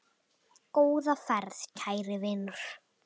Góða ferð, kæri vinur.